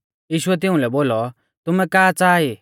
यीशुऐ तिउंलै बोलौ तुमै का च़ाहा ई